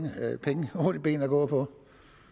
ben at gå på